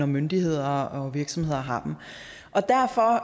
myndigheder og virksomheder har dem